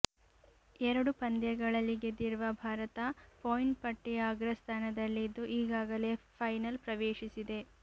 ಎರಡು ಪಂದ್ಯಗಳಲ್ಲಿ ಗೆದ್ದಿರುವ ಭಾರತ ಪಾಯಿಂಟ್ ಪಟ್ಟಿಯ ಅಗ್ರ ಸ್ಥಾನದಲ್ಲಿದ್ದು ಈಗಾಗಲೇ ಫೈನಲ್ ಪ್ರವೇಶಿಸಿದೆ